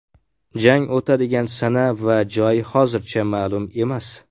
Jang o‘tadigan sana va joy hozircha ma’lum emas.